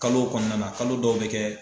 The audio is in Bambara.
Kalo kɔnɔna na kalo dɔw bɛ kɛ